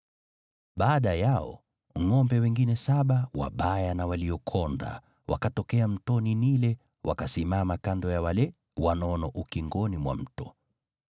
Baada yao ngʼombe wengine saba, wabaya na waliokonda, wakatokea mtoni Naili wakasimama kando ya wale wanono ukingoni mwa mto.